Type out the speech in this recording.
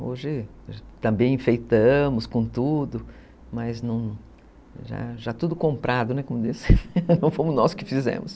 Hoje também enfeitamos com tudo, mas já já tudo comprado, não fomos nós que fizemos.